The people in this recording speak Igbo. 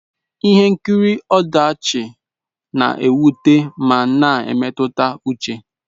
Ihe nkiri ọdachi na-ewute ma na emetụta uche.